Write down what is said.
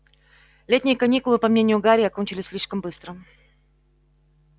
летние каникулы по мнению гарри окончились слишком быстро